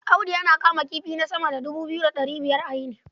Audi yana kama kifi na sama da dubu biyu da ɗari biyar a yini.